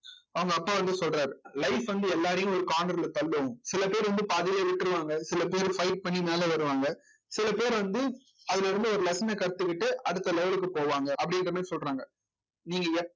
அவங்க அப்பா வந்து சொல்றாரு life வந்து எல்லாரையும் ஒரு corner ல தள்ளும் சில பேர் வந்து பாதியிலே விட்டுருவாங்க சில பேர் fight பண்ணி மேலே வருவாங்க சில பேர் வந்து அதிலே இருந்து ஒரு lesson அ கத்துக்கிட்டு அடுத்த level க்கு போவாங்க அப்படின்ற மாதிரி சொல்றாங்க நீங்க